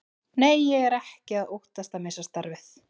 Nei, ég er ekki að óttast að missa starfið.